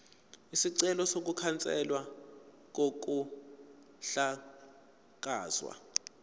isicelo sokukhanselwa kokuhlakazwa